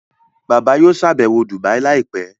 Bàbá yóò ṣàbẹ̀wọ̀ Dubai láìpẹ́